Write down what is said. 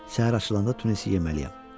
Səhər açılanda Tunisi yeməliyəm.